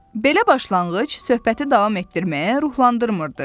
Belə başlanğıc söhbəti davam etdirməyə ruhlandırmırdı.